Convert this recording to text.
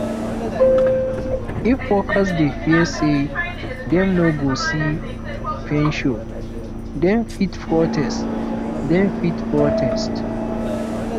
if workers dey fear say dem no go see pension dem fit protest dem fit protest